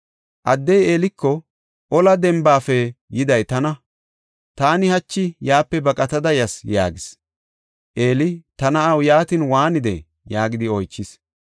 Addey Eeliko, “Ola dembafe yiday tana; taani hachi yaape baqatada yas” yaagis. Eeli, “Ta na7aw, yaatin waanidee?” yaagidi oychis.